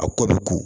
A kɔ bɛ ko